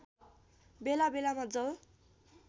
बेला बेलामा जल